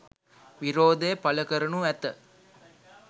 විරෝධය පළ කරනු ඇත